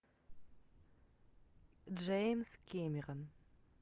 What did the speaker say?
джеймс кэмерон